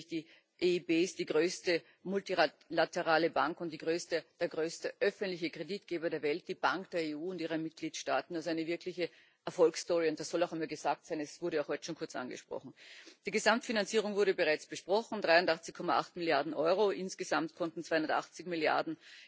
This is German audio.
die EIB ist nämlich die größte multilaterale Bank und der größte öffentliche Kreditgeber der Welt, die Bank der EU und ihrer Mitgliedstaaten also eine wirkliche Erfolgsstory, und das soll auch einmal gesagt sein, es wurde auch heute schon kurz angesprochen. Die Gesamtfinanzierung wurde bereits besprochen 83,8 Milliarden Euro, insgesamt konnten 280 Milliarden